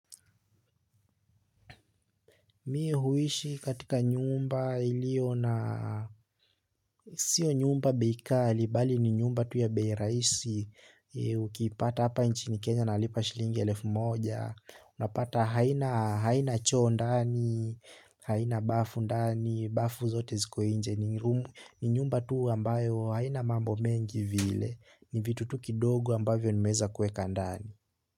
Mi huishi katika nyumba iliyo na sio nyumba bei ghali bali ni nyumba tu ya bei rahisi. Ukipata hapa nchini Kenya nalipa shilingi elfu moja. Unapata haina haina choo ndani, haina bafu ndani, bafu zote ziko nje ni nyumba tu ambayo haina mambo mengi vile ni vitu tu kidogo ambayo nimeeza kueka ndani.